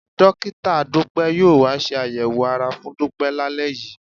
Dọ́kítà Dúpẹ́ yóò wá ṣe àyẹ̀wò ara fún Dúpẹ́ lálẹ́ yìí